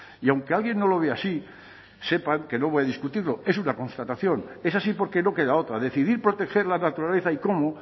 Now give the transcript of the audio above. y aunque alguien no lo vea así sepan que no voy a discutirlo es una constatación es así porque no queda otra decidir proteger la naturaleza y cómo